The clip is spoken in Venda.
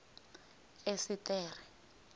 esiṱere